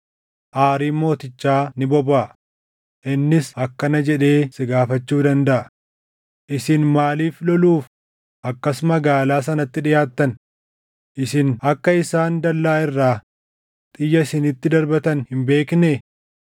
aariin mootichaa ni bobaʼa; innis akkana jedhee si gaafachuu dandaʼa; ‘Isin maaliif loluuf akkas magaalaa sanatti dhiʼaattan? Isin akka isaan dallaa irraa xiyya isinitti darbatan hin beeknee?